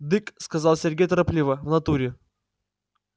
дык сказал сергей торопливо в натуре